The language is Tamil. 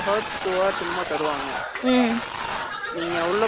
நீங்க உள்ள போறது இருந்து உள்ள போய் உக்காறது வரைக்கும் அவங்களுக்கு கணக்கு